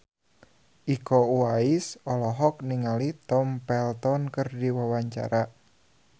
Iko Uwais olohok ningali Tom Felton keur diwawancara